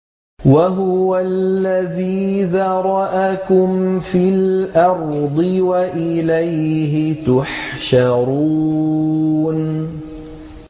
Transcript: وَهُوَ الَّذِي ذَرَأَكُمْ فِي الْأَرْضِ وَإِلَيْهِ تُحْشَرُونَ